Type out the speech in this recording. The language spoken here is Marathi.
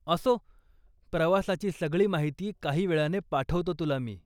असो, प्रवासाची सगळी माहिती काही वेळाने पाठवतो तुला मी.